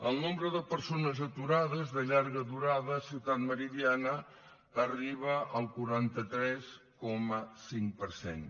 el nombre de persones aturades de llarga durada a ciutat meridiana arriba al quaranta tres coma cinc per cent